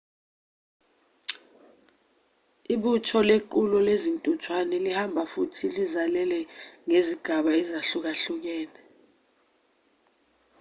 ibutho lequlo lezintuthwane lihamba futhi lizalele ngezigaba ezahlukahlukene